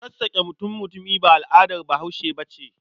Sassaƙa mutum-mutumi ba al'adar Bahaushe ba ce.